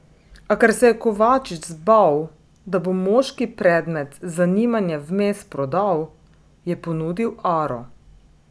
A ker se je Kovačič zbal, da bo moški predmet zanimanja vmes prodal, je ponudil aro.